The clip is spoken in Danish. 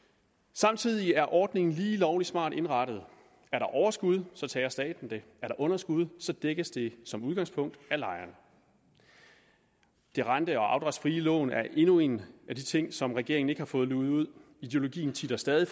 samtidig er ordningen lige lovlig smart indrettet er der overskud så tager staten det er der underskud dækkes det som udgangspunkt af lejeren det rente og afdragsfrie lån er endnu en af de ting som regeringen ikke har fået luget ud ideologien titter stadig